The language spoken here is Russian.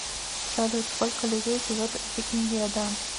салют сколько людей живет в иеддо